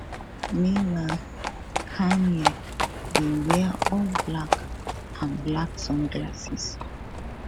meanwhile kanye bin wear all black and black sunglasses